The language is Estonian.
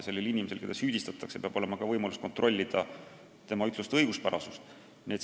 Sellel inimesel, keda süüdistatakse, peab olema võimalus kuulda, kas kannatanu ütlused on õiguspärased.